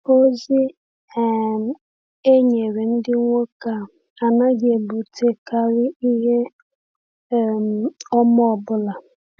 .Ozi um e nyere ndị nwoke a anaghị ebutekarị ihe um ọma ọ bụla.